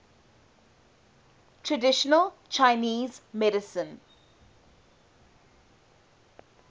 traditional chinese medicine